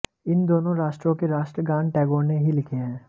इन दोनों राष्ट्रों के राष्ट्र गान टैगोर ने ही लिखे हैं